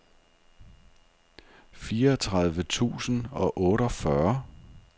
fireogtredive tusind og otteogfyrre